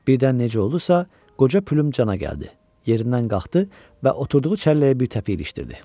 Birdən necə oldusa, qoca plüm cana gəldi, yerindən qalxdı və oturduğu çəlləyə bir təpik ilişdirdi.